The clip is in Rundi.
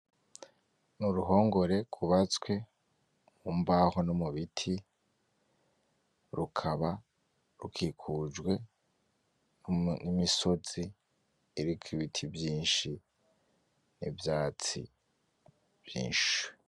N'uruhongore gwubatswe mu mbaho no mu biti, rukaba rukikujwe n'imisozi iriko ibiti vyinshi n'ivyatsi vyinshi.